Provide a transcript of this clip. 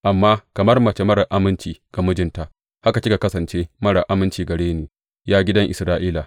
Amma kamar mace marar aminci ga mijinta, haka kika kasance marar aminci gare ni, ya gidan Isra’ila,